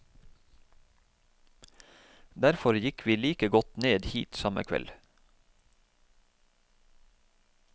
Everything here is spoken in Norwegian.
Derfor gikk vi like godt ned hit samme kveld.